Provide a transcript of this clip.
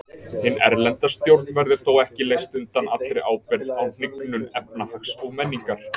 Hin erlenda stjórn verður þó ekki leyst undan allri ábyrgð á hnignun efnahags og menningar.